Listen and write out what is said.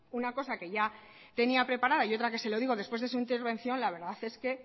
una cosa que ya tenía preparada y otra que se lo digo después de su intervención la verdad es que